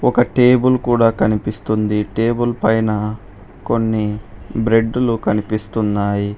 ఒక టేబుల్ కూడా కనిపిస్తుంది టేబుల్ పైన కొన్ని బ్రెడ్లు కనిపిస్తున్నాయి.